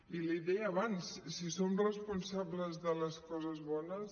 i l’hi deia abans si som responsables de les coses bones